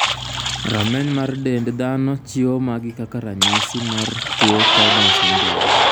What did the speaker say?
Rameny mar dend dhano chiwo magi kaka ranyisi mar tuo Cowden syndrome.